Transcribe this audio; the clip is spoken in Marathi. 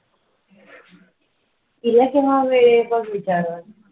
तिला केव्हा वेळ बघ विचारून,